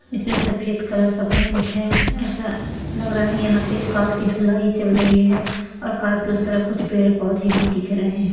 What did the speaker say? इसमें सफ़ेद कलर का पैंट है ऐसा लग रहा है यहां पे कार की धुलाई चल रही है और कार के उस तरफ कुछ पेड़ पौधे भी दिख रहे है।